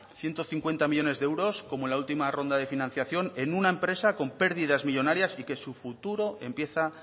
ciento cincuenta millónes de euros como en la última ronda de financiación en una empresa con pérdidas millónarias y que su futuro empieza